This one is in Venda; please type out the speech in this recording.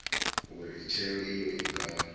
uri tsheo iyo i nga